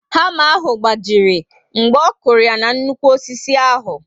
Hama ahụ gbajiri mgbe ọkụrụ ya na nnukwu osisi ahụ